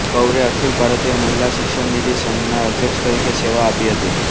કૌરે અખિલ ભારતીય મહિલા શિક્ષણ નિધિ સંઘના અધ્યક્ષ તરીકે સેવા આપી હતી